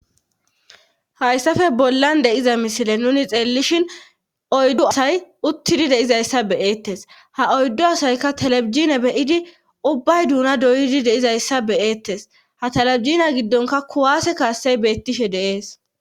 hayssafe bollan deyiza misile nuni xeellishin oyddo asay uttidi deizayssa beyeettes ha oyddu asayka talebijina beyidi ubbay duuna doyidi deizayssa beyeettes ha talebijina giddonka kuwaase kaassey beettishe de'ees